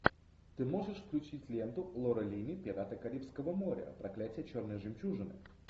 ты можешь включить ленту лоры линни пираты карибского моря проклятие черной жемчужины